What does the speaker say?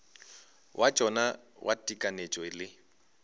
wa tšona wa tekanyetšo le